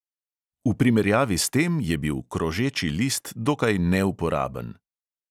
V primerjavi s tem je bil krožeči list dokaj neuporaben.